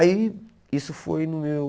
Aí isso foi no meu...